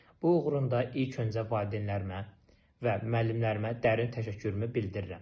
Bu uğurumda ilk öncə valideynlərimə və müəllimlərimə dərin təşəkkürümü bildirirəm.